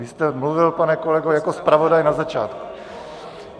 Vy jste mluvil, pane kolego, jako zpravodaj na začátku.